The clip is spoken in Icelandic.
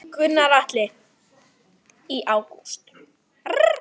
Gunnar Atli: Í ágúst?